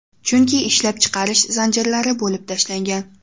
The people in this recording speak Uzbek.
Chunki ishlab chiqarish zanjirlari bo‘lib tashlangan.